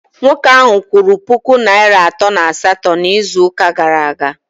Nwoke ahụ kwụrụ puku naịra atọ na asatọ n'izuụka gara aga